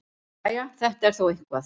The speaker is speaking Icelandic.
Jæja, þetta er þó eitthvað.